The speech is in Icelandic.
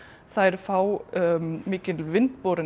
þær fá mikil